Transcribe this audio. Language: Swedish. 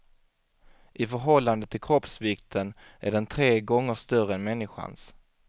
I förhållande till kroppsvikten är den tre gånger större än människans.